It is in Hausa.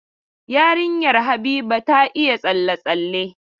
Yarinyar Habiba ta iya tsalle-tsalle.